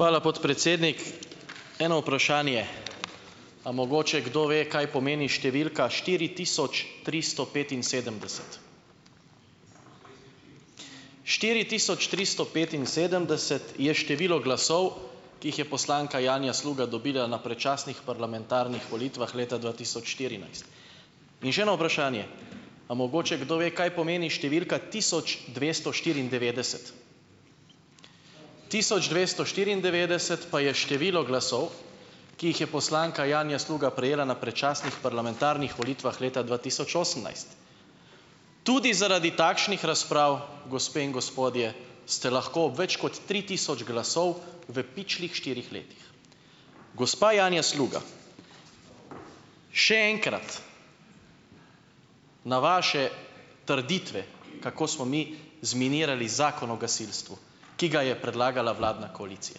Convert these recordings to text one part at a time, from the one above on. Hvala, podpredsednik. Eno vprašanje. A mogoče kdo ve, kaj pomeni številka štiri tisoč tristo petinsedemdeset? Štiri tisoč tristo petinsedemdeset je število glasov, ki jih je poslanka Janja Sluga dobila na predčasnih parlamentarnih volitvah leta dva tisoč štirinajst. In še eno vprašanje. A mogoče kdo ve, kaj pomeni številka tisoč dvesto štiriindevetdeset? Tisoč dvesto štiriindevetdeset pa je število glasov, ki jih je poslanka Janja Sluga prejela na predčasnih parlamentarnih volitvah leta dva tisoč osemnajst. Tudi zaradi takšnih razprav, gospe in gospodje, ste lahko več kot tri tisoč glasov v pičlih štirih letih. Gospa Janja Sluga, še enkrat, na vaše trditve, kako smo mi zminirali Zakon o gasilstvu, ki ga je predlagala vladna koalicija,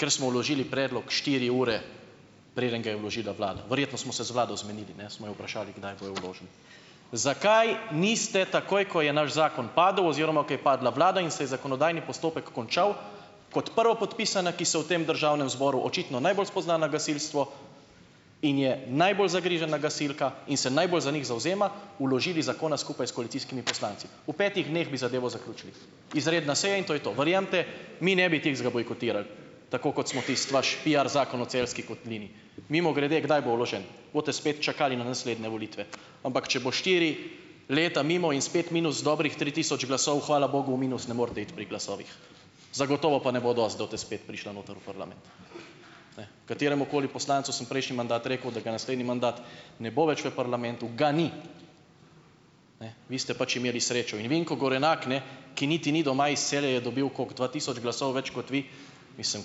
ker smo vložili predlog štiri ure, preden ga je vložila vlada, verjetno smo se z vlado zmenili, ne, smo jo vprašali, kdaj bojo vložili. Zakaj niste takoj, ko je naš zakon padel oziroma ko je padla vlada in se je zakonodajni postopek končal, kot prvopodpisana, ki se v tem državnem zboru očitno najbolj spozna na gasilstvo in je najbolj zagrizena gasilka in se najbolj za njih zavzema, vložili zakona skupaj s koalicijskimi poslanci. V petih dneh bi zadevo zaključili. Izredna seja in to je to. Verjemite mi, ne bi tistega bojkotirali, tako kot smo tisti vaš piar zakon o Celjski kotlini. Mimogrede, kdaj bo vložen? Boste spet čakali na naslednje volitve. Ampak, če bo štiri leta mimo in spet minus dobrih tri tisoč glasov, hvala bogu, v minus ne morete iti pri glasovih, zagotovo pa ne bo dosti, da boste spet prišla noter v parlament. Ne, kateremukoli poslancu sem prejšnji mandat rekel, da ga naslednji mandat ne bo več v parlamentu, ga ni. Ne, vi ste pač imeli srečo. In Vinko Gorenak, ne, ki niti ni doma iz Celja, je dobil - koliko - dva tisoč glasov več kot vi. Mislim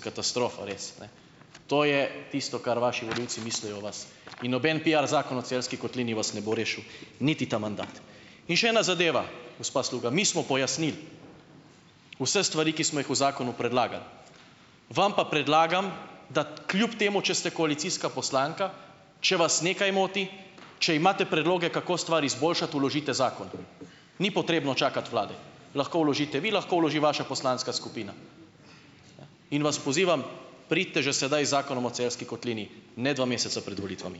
katastrofa res, ne, to je tisto, kar vaši volivci mislijo o vas. In noben piar zakon o Celjski kotlini vas ne bo rešil niti ta mandat. In še ena zadeva, gospa Sluga, mi smo pojasnili vse stvari, ki smo jih v zakonu predlagali, vam pa predlagam, da kljub temu, če ste koalicijska poslanka, če vas nekaj moti, če imate predloge, kako stvar izboljšati, vložite zakon, ni potrebno čakati vlade, lahko vložite vi, lahko vloži vaša poslanska skupina. Ne, in vas pozivam pridite že sedaj z zakonom o Celjski kotlini, ne dva meseca pred volitvami.